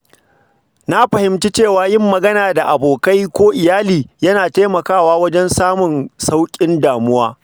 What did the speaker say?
Na fahimci cewa yin magana da abokai ko iyali yana taimakawa wajen samun sauƙin damuwa.